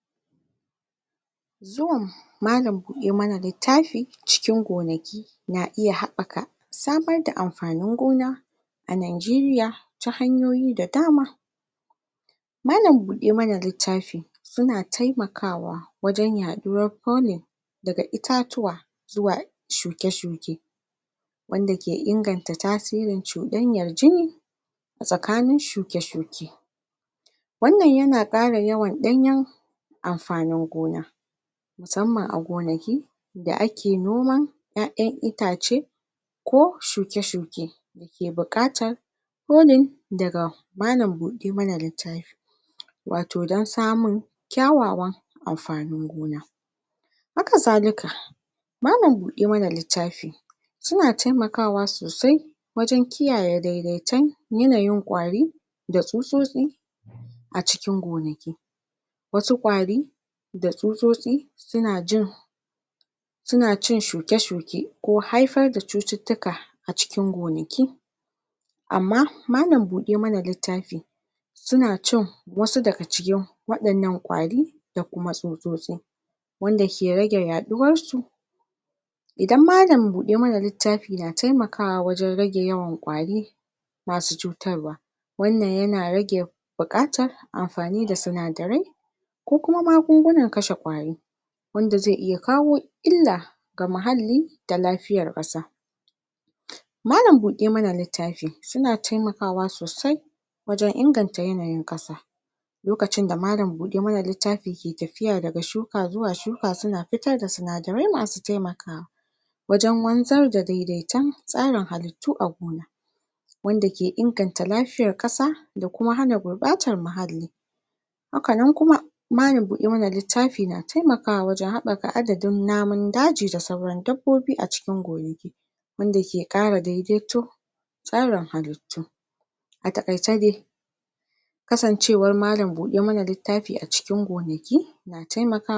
A cikin al'adun Nigeria musamman ma a yankunan karkara, akwai wasu al'adu da ɗabi'u na musamman da ake bi waje raba amfanin gona na farko, wannan ya na daga cikin al'adu na godiya da kuma tabbatar da cigaban al'umma. Al'adar raba amfanin gona na farko ya na nuni ga godiya ga Allah ubangiji don alheri da ya kawo, da kuma tabbatar da cewa ba wai amfanin gona kawai aka samu ba harma da zaman lafiya, da haɗin kai tsakanin al'umma, a wasu al'umomi lokacin da aka samu amfanin gona na farko sai ayi buku-kuna na musamman, ana shirya taron al'ada inda dukkan al'umma ke taruwa don cin amfanin gona na farko, ta re da dangi da kuma abokai, hakanan kuma ana raba wannan amfanin gona ga mabuƙata da kuma sauran jama'a, wanda hakan ya na ƙarfafa alaƙa tsakanin kowane ɗan ƙauye, a wasu lokutan kuma wani nau'in al'ada da aka bi shine sadaukar da wani kaso na amfanin gona na farko ga manya, ga manyan mutane, ko kuma shuwagabanni a cikin al'umma, wanda hakan ya na nuni da yabo da kuma girmamawa ga waɗanda su ke jagorancin al'umma, wannan ya na kuma tabbatar da ce wa amfanin gona ya na da alaƙa da cigaban al'umma baki ɗaya, abinda yafi ban sha'awa a cikin wannan al'ada shine yadda ake raba amfanin gona tsakanin kowa da kowa, koda kuwa ƙaramin noma ne ko babban noma, wannan al'ada ta nuna yadda al'umma ke da haɗin kai da juna don cimma nasara, wani abun da zai iya bada mamaki shine yadda wannan al'ada ke tsayawa cikin tsari mai kyau, yanda kowane mutu ya ke samun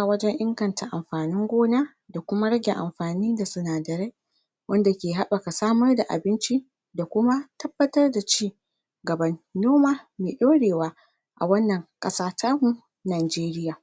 abinda zai inganta rayuwarsa, daga amfanin gona na wani daga amfanin gona na farko.